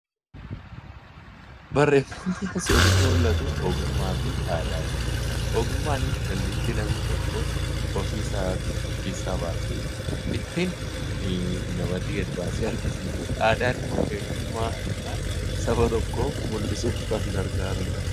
Barreeffamni asii olitti mul'atu ogummaa fi aadaa jedha. Ogummaan dandeettii namni tokko ofii isaatii Of keessaa baasee ittiin namatti gadi baasee argisiisuudha. Aadaan immoo eenyummaa yookaan saba tokko mul'isuuf kan gargaarudha.